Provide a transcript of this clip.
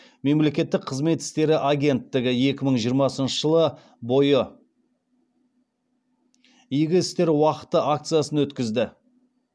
мемлекеттік қызмет істері агенттігі екі мың жиырмасыншы жылы бойы игі істер уақыты акциясын өткізді